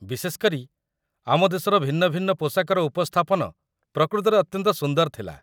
ବିଶେଷ କରି, ଆମ ଦେଶର ଭିନ୍ନ ଭିନ୍ନ ପୋଷାକର ଉପସ୍ଥାପନ ପ୍ରକୃତରେ ଅତ୍ୟନ୍ତ ସୁନ୍ଦର ଥିଲା